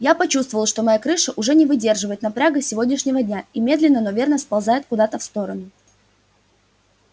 я почувствовала что моя крыша уже не выдерживает напряга сегодняшнего дня и медленно но верно сползает куда-то в сторону